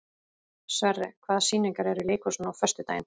Sverre, hvaða sýningar eru í leikhúsinu á föstudaginn?